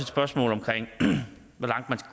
spørgsmål om